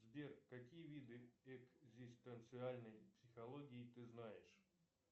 сбер какие виды экзистенциальной психологии ты знаешь